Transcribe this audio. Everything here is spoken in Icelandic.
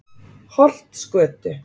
Holtsgötu